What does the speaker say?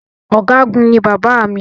Ọ̀̀gágun ní bàbá mi.